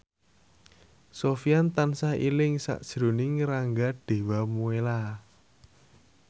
Sofyan tansah eling sakjroning Rangga Dewamoela